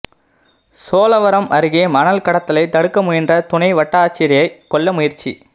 சோழவரம் அருகே மணல் கடத்தலை தடுக்க முயன்ற துணை வட்டாட்சியரை கொல்ல முயற்சி